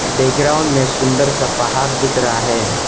Background में सुंदर सा पहाड़ दिख रहा है।